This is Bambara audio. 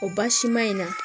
O basima in na